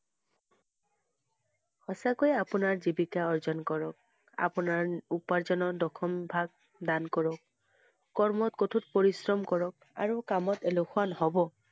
সঁচাকৈ আপোনাৰ জীৱিকা অৰ্জন কৰক। আপোনাৰ ন~উপাৰ্জনৰ দশম~ম ভাগ দান কৰক, কৰ্মত কঠোৰ পৰিশ্ৰম কৰক আৰু কামত এলেহুৱা নহব ।